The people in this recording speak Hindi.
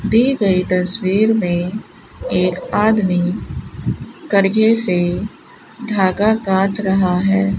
दिए गए तस्वीर में एक आदमी करघे से धागा काट रहा है।